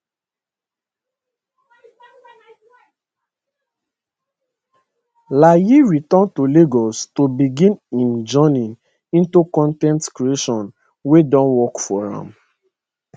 layi return to lagos to begin im journey into con ten t creation wey don work for am